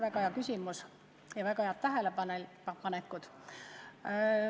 Väga hea küsimus ja väga head tähelepanekud.